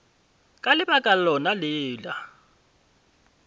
ka lebaka lona le la